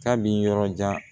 K'a bi yɔrɔ jan